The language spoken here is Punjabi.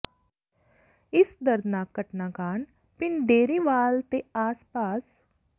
ਇਸ ਦਰਦਨਾਕ ਘਟਨਾ ਕਾਰਨ ਪਿੰਡ ਡੇਅਰੀਵਾਲ ਤੇ ਆਸ ਪਾਸ